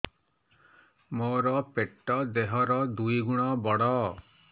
ମୋର ପେଟ ଦେହ ର ଦୁଇ ଗୁଣ ବଡ